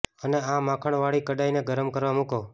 અને આ માખણ વાળી કડાઈ ને ગરમ કરવા મુકો